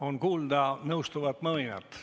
On kuulda nõustuvat mõminat.